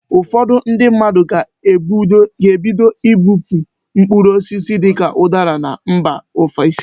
Ụfọdụ ndị mmadụ ga-ebido ibupu mkpụrụ osisi dịka ụdara na mba ofesi.